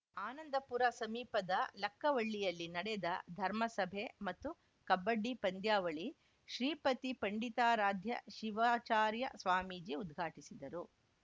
ಆನಂದಪುರ ಸಮೀಪದ ಲಕ್ಕವಳ್ಳಿಯಲ್ಲಿ ನಡೆದ ಧರ್ಮಸಭೆ ಮತ್ತು ಕಬಡ್ಡಿ ಪಂದ್ಯಾವಳಿ ಶ್ರೀಪತಿ ಪಂಡಿತಾರಾಧ್ಯ ಶಿವಚಾರ್ಯ ಸ್ವಾಮೀಜಿ ಉದ್ಘಾಟಿಸಿದರು